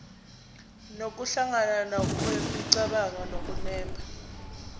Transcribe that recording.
nokuhlangana kwemicabango nokunemba